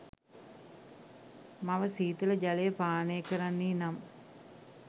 මව ශීතල ජලය පානය කරන්නී නම්